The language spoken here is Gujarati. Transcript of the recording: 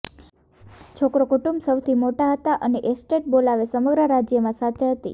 છોકરો કુટુંબ સૌથી મોટા હતા અને એસ્ટેટ બોલાવે સમગ્ર રાજ્યમાં સાથે હતી